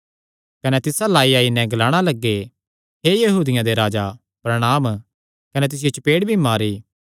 कने तिस अल्ल आईआई नैं ग्लाणा लग्गे हे यहूदियां दे राजा प्रणांम कने तिसियो चपेड़ भी मारी